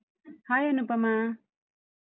Hai Anupama.